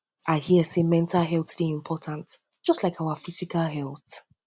i hear sey mental health dey important just like your physical health